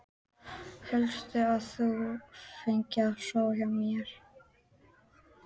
Hélstu að þú fengir að sofa hjá mér?